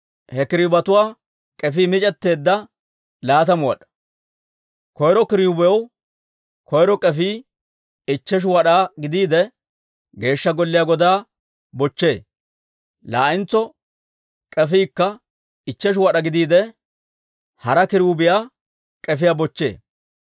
He kiruubetuwaa k'efii mic'etteedda, laatamu wad'aa; koyro kiruubiyaw koyro k'efii ichcheshu wad'aa gidiide, Geeshsha Golliyaa godaa bochchee; laa'entso k'efiikka ichcheshu wad'aa gidiide, hara kiruubiyaa k'efiyaa bochchee.